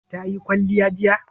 Ta yi kwalliya jiya?